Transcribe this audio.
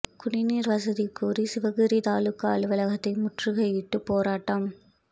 குடிநீர் வசதி கோரி சிவகிரி தாலுகா அலுவலகத்தை முற்றுகையிட்டு போராட்டம்